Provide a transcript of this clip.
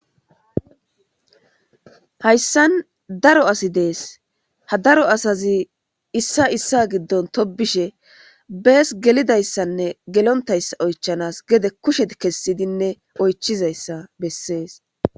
hayssan daro asi dees ha daro asazi issa issa giddon tobishe bees gelidayssanne gelontayssa oychanas gede kushet kessidinne oychizayssa bessees